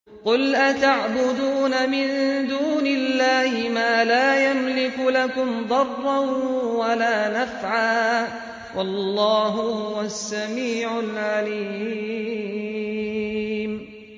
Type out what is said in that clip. قُلْ أَتَعْبُدُونَ مِن دُونِ اللَّهِ مَا لَا يَمْلِكُ لَكُمْ ضَرًّا وَلَا نَفْعًا ۚ وَاللَّهُ هُوَ السَّمِيعُ الْعَلِيمُ